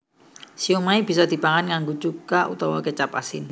Siomai bisa dipangan nganggo cuka utawa kécap asin